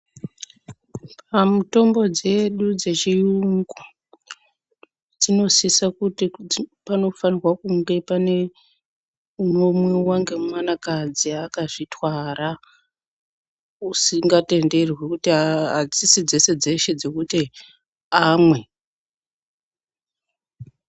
Pamitombo dzedu dzechiyungu dzinosisa kuti panofanirwa kunge pane unomwiwa ngemwanakadzi akazvitwara, usingatenderwi kuti adzisi dzeshe dzeshe dzekuti amwe.